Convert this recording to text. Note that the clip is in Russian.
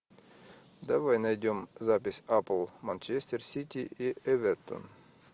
давай найдем запись апл манчестер сити и эвертон